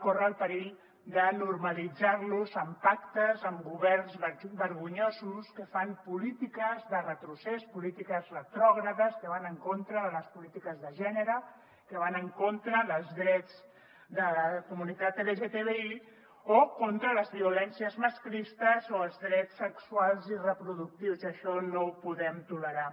corre el perill de normalitzar los amb pactes amb governs vergonyosos que fan polítiques de retrocés polítiques retrògrades que van en contra de les polítiques de gènere que van en contra dels drets de la comunitat lgtbi o en contra les violències masclistes o els drets sexuals i reproductius i això no ho podem tolerar